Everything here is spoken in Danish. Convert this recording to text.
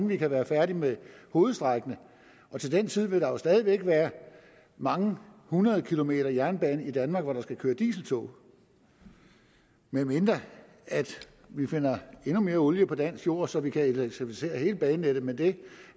vi kan være færdige med hovedstrækningerne og til den tid vil der stadig væk være mange hundrede kilometer jernbane i danmark hvor der skal køre dieseltog medmindre vi finder endnu mere olie på dansk jord så vi kan elektrificere hele banenettet men det